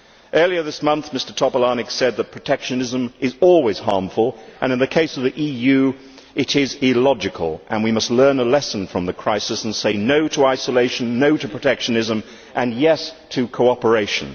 Earlier this month Mr Topolánek said that protectionism is always harmful and, in the case of the EU, it is illogical. We must learn a lesson from the crisis and say no' to isolation, no' to protectionism and yes' to cooperation.